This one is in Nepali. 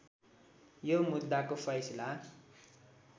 यो मुद्दाको फैसला